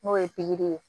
N'o ye pikiri ye